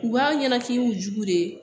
U b'a ɲɛna k'i y'u jugu de